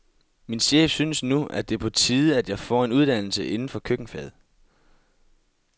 Min chef synes nu, at det er på tide, at jeg får en uddannelse inden for køkkenfaget.